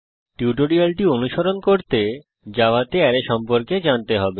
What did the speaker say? টিউটোরিয়ালটি অনুসরণ করতে জাভাতে অ্যারে সম্পর্কে জানতে হবে